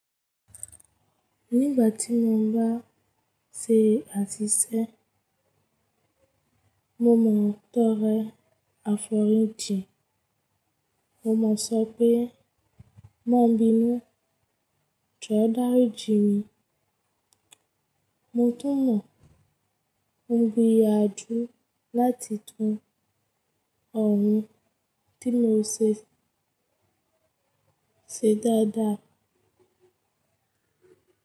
Nígbà tí mo ń bá ṣe àtẹ̀jíṣẹ́, mo mọ̀ ọ́n tó rẹ́ àfọ̀rọ́jìn. Mo mọ̀ sọ́ pé má bínu jó dáríji mi. Mo tún mọ̀ ọ́n gbìyànjú láti tú ọ̀ún tí mo ṣe ṣe dáadáa.